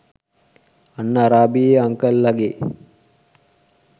අන්න අරාබියේ අන්කල් ලගේ